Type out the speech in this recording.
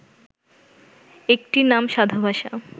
একটির নাম সাধুভাষা